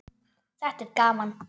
Þetta er gaman.